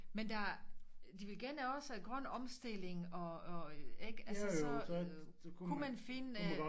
Men der de vil gerne også have grøn omstilling og og ikke altså så kunne man finde